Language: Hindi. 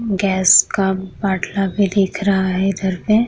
गैस का बाटला भी दिख रहा है इधर पे।